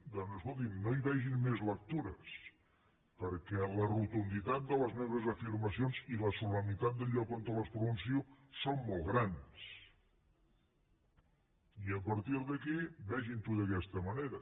doncs escoltin no hi vegin més lectures perquè la rotunditat de les meves afirmacions i la solemnitat del lloc on les pronuncio són molt grans i a partir d’aquí vegin ho d’aquesta manera